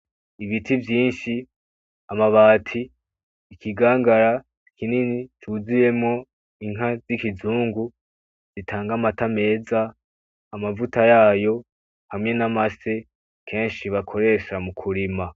Ibiti vyinshi amabati ikigangaya kinini cuzuyemwo inka z'ikizungu zitanga amata meza, amavuta yayo hamwe n'amase, kenshi bakoresha m'ukurima.